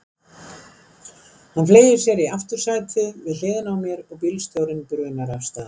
Hann fleygir sér í aftursætið, við hliðina á mér, og bílstjórinn brunar af stað.